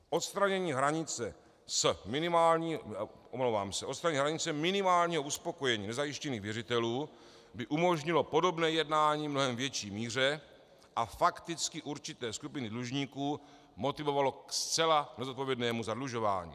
Odstranění hranice minimálního uspokojení nezajištěných věřitelů by umožnilo podobné jednání v mnohem větší míře a fakticky určité skupiny dlužníků motivovalo ke zcela nezodpovědnému zadlužování.